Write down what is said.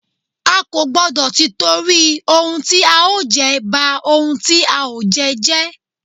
A kò gbọ́dọ̀ tìtorí ohun tí a ó jẹ, ba ohun tí a ó jẹ jẹ́.